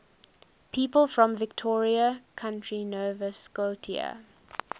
people from victoria county nova scotia